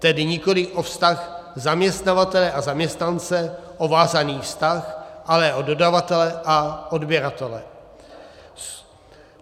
Tedy nikoli o vztah zaměstnavatele a zaměstnance, o vázaný vztah, ale o dodavatele a odběratele.